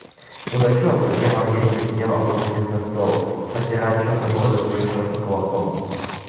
пугачёв на первом месте сидел облокотясь на стол и подпирая чёрную бороду своим широким кулаком